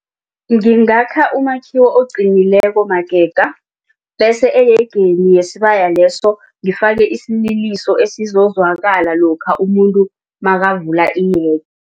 Ngingakha umakhiwo oqinileko magega bese eyegeni yesibaya leso ngifake isililiso esizokuzwakala lokha umuntu nakavula